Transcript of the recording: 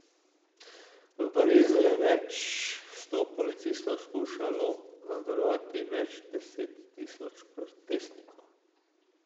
V Parizu je več sto policistov skušalo nadzorovati več deset tisoč protestnikov.